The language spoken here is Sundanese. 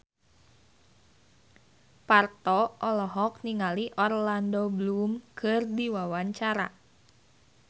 Parto olohok ningali Orlando Bloom keur diwawancara